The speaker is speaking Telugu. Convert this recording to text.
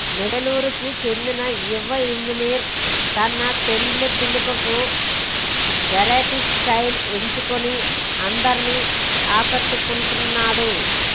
నెల్లూరుకు చెందిన యువ ఇంజనీర్ తన పెండ్లి పిలుపులకు వెరైటీ స్టైల్ ఎంచుకుని అందరినీ ఆకట్టుకుంటున్నాడు